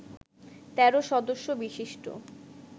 ১৩ সদস্য বিশিষ্ট